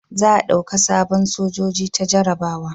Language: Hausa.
Za a dauka sabon sojoji ta jarabawa